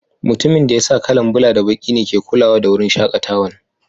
Mutumin da ya sa kala'n bula da baki ne ke kulawa da wurin shakatawan.